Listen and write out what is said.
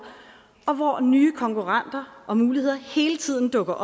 og hvor nye konkurrenter og muligheder hele tiden dukker